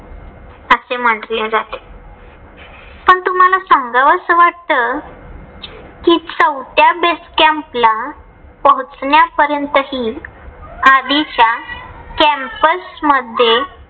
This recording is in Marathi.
असे म्हंटले जाते. पण तुम्हाला समजावं अस वाटत. कि चौथ्या base camp ला पोहोचण्यापर्यंत हि आधीच्या campus मध्ये